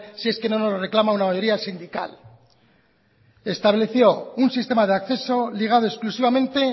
si es que no nos lo reclama una mayoría sindical estableció un sistema de acceso ligado exclusivamente